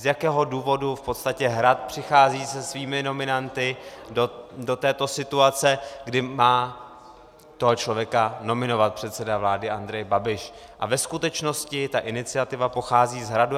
Z jakého důvodu v podstatě Hrad přichází se svými nominanty do této situace, kdy má toho člověka nominovat předseda vlády Andrej Babiš, a ve skutečnosti ta iniciativa pochází z Hradu.